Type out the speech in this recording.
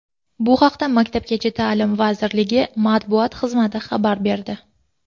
Bu haqda maktabgacha ta’lim vazirligi matbuot xizmati xabar berdi .